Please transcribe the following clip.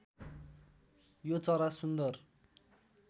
यो चरा सुन्दर